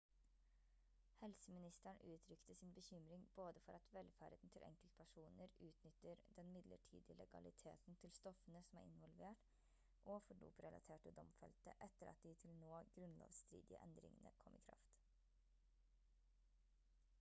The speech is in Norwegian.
helseministeren uttrykte sin bekymring både for at velferden til enkeltpersoner utnytter den midlertidige legaliteten til stoffene som er involvert og for doprelaterte domfelte etter at de til nå grunnlovsstridige endringene kom i kraft